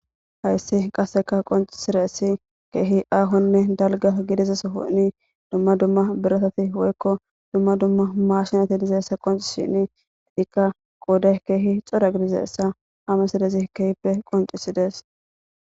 hayssi qasseka qoncisiressi keehi aahonne dalga gidizaso honi dumma dumma biretati woykko dumma dumma maashinati dizeessa qonci shini ikka qoude keehi xodagidizeessa hamesidezi kehippe qoncisidees